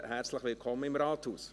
Herzlich willkommen im Rathaus.